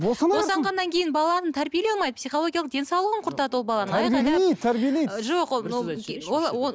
босана берсін босанғаннан кейін баланы тәрбиелей алмайды психологиялық денсаулығын құртады ол баланың